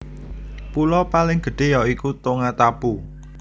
Pulo paling gedhé ya iku Tongatapu